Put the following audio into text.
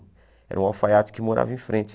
Era um alfaiate que morava em frente.